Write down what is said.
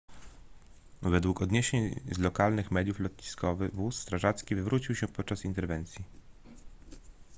według doniesień z lokalnych mediów lotniskowy wóz strażacki wywrócił się podczas interwencji